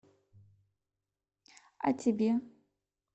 а тебе